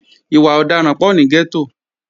Ìwà ọ̀daràn pọ̀ ní gẹ́tò